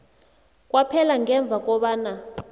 kwaphela ngemva kobana